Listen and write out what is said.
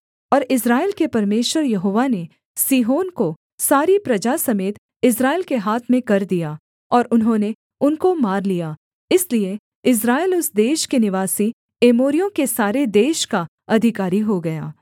और इस्राएल के परमेश्वर यहोवा ने सीहोन को सारी प्रजा समेत इस्राएल के हाथ में कर दिया और उन्होंने उनको मार लिया इसलिए इस्राएल उस देश के निवासी एमोरियों के सारे देश का अधिकारी हो गया